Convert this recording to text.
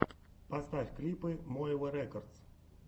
поставь клипы моэва рекодс